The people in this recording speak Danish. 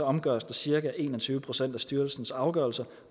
omgøres der cirka en og tyve procent af styrelsens afgørelser